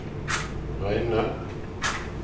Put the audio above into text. reine